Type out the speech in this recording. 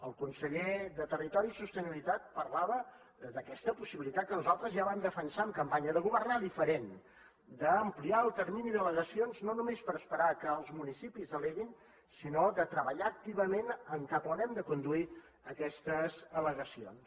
el conseller de territori i sostenibilitat parlava d’aquesta possibilitat que nosaltres ja vam defensar en campanya de governar diferent d’ampliar el termini d’al·legacions no només per esperar que els municipis alleguin sinó de treballar activament en cap a on hem de conduir aquestes al·legacions